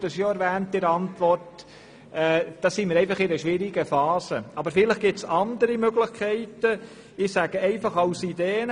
Ich nenne nun ein paar Ideen, die ich noch nicht geprüft habe: